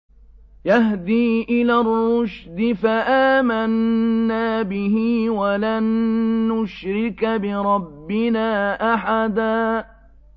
يَهْدِي إِلَى الرُّشْدِ فَآمَنَّا بِهِ ۖ وَلَن نُّشْرِكَ بِرَبِّنَا أَحَدًا